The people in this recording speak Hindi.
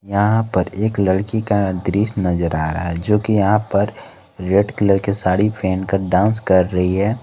यहां पर एक लड़की का दृश्य नजर आ रहा है जो कि यहां पर रेड कलर के साड़ी पहनकर डांस कर रही है।